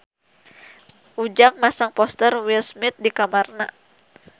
Ujang masang poster Will Smith di kamarna